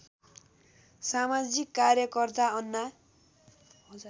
समाजिक कार्यकर्ता अन्ना